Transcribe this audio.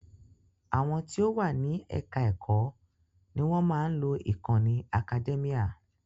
Àwọn tí o wà ní ẹka ẹ̀kọ́ ní wọ́n má a ń lo ìkànnì Academia.